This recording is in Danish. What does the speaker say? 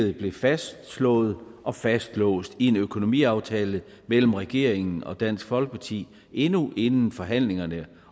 det blev fastslået og fastlåst i en økonomiaftale mellem regeringen og dansk folkeparti endnu inden forhandlingerne